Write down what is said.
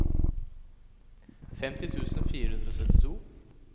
femti tusen fire hundre og syttito